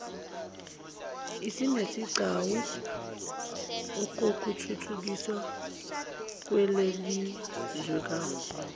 isinesigcawu okuthuthukiswa kwelelizwekazi